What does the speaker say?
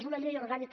és una llei orgànica